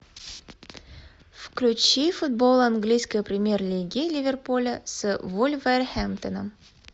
включи футбол английской премьер лиги ливерпуля с вулверхэмптоном